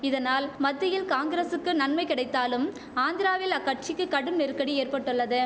இதனால் மத்தியில் காங்கிரசுக்கு நன்மை கிடைத்தாலும் ஆந்திராவில் அக்கட்சிக்கு கடும் நெருக்கடி ஏற்பட்டுள்ளது